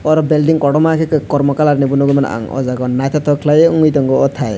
oro belding kotorma ke kormo colour ni bo nogoi mano ang o jaga o naito tok kelai owngoi tango o tai.